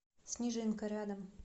снежинка рядом